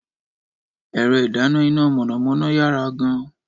Ẹ̀rọ ìdáná iná mọ̀nàmọ́ná yára gan-an.